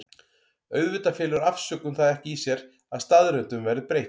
Auðvitað felur afsökun það ekki í sér að staðreyndum verði breytt.